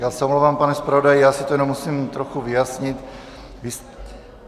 Já se omlouvám, pane zpravodaji, já si to jenom musím trochu vyjasnit.